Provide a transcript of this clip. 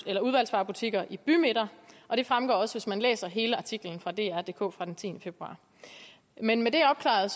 eller udvalgsvarebutikker i bymidter det fremgår også hvis man læser hele artiklen fra drdk fra den tiende februar men med det opklaret